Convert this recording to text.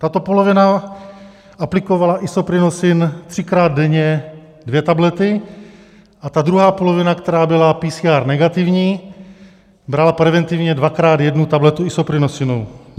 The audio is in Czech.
Tato polovina aplikovala Isoprinosin třikrát denně dvě tablety a ta druhá polovina, která byla PCR negativní, brala preventivně dvakrát jednu tabletu Isoprinosinu.